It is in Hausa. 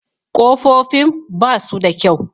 Kofofin ba su da kyau.